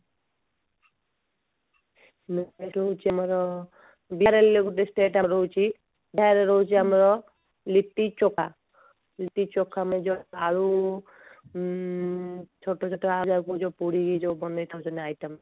next item ହେଉଛି ଆମର ବିହାର ହେଲେ state ଆମର ରହୁଛି ବିହାର ରେ ରହୁଛି ଆମର ଲିଟି ଚୋଖା ଲିଟି ଚୋଖା ମାନେ ଯୋଉ ଆଳୁ ଉଁ ଛୋଟ ଛୋଟ ଆଳୁକୁ ଆମେ ଯୋଉ ପୋଡିକି ବନେଇଥାନ୍ତି ନା item